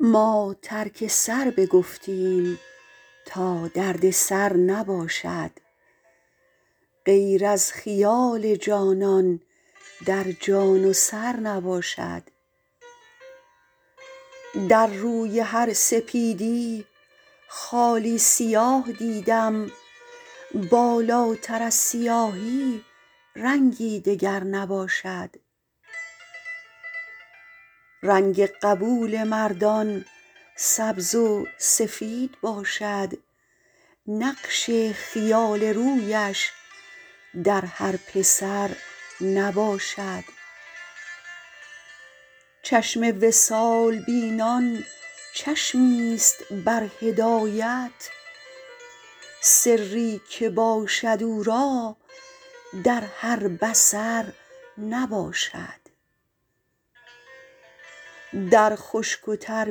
ما ترک سر بگفتیم تا دردسر نباشد غیر از خیال جانان در جان و سر نباشد در روی هر سپیدی خالی سیاه دیدم بالاتر از سیاهی رنگی دگر نباشد رنگ قبول مردان سبز و سفید باشد نقش خیال رویش در هر پسر نباشد چشم وصال بینان چشمیست بر هدایت سری که باشد او را در هر بصر نباشد در خشک و تر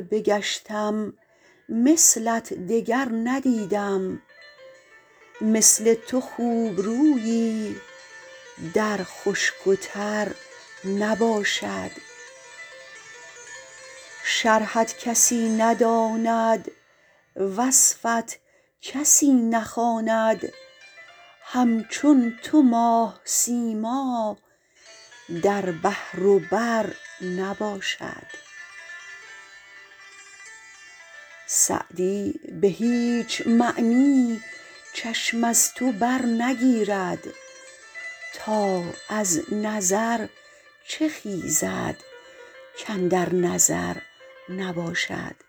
بگشتم مثلت دگر ندیدم مثل تو خوبرویی در خشک و تر نباشد شرحت کسی نداند وصفت کسی نخواند همچون تو ماه سیما در بحر و بر نباشد سعدی به هیچ معنی چشم از تو برنگیرد تا از نظر چه خیزد کاندر نظر نباشد